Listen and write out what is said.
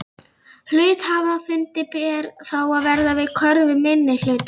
Hluthafafundi ber þá að verða við kröfu minnihlutans.